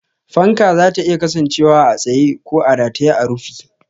Fanka zata iya kasancewa a tsaye ko a rataye a rufi.